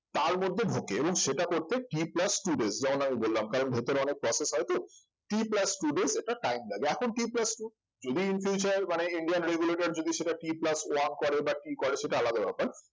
তার মধ্যে ঢোকে এবং সেটা করতে t plus two days যেমন আমি বললাম যেমন ভিতরে অনেক process হয়তো t plus two days একটা time লাগে এখন t plus two যদি in future মানে indian regulator যদি সেটা t plus one করে বা t করে সেটা আলাদা ব্যাপার